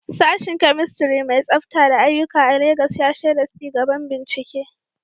Sashen Chemistry mai tsafta da aiyuka a Legas ya shaida ci gaban bincike.